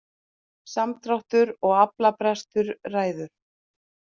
Samdráttur og aflabrestur ræður